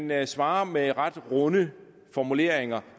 man svarer med ret runde formuleringer